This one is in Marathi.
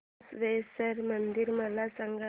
बसवेश्वर मंदिर मला सांग